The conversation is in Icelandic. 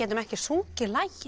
ekki sungið lagið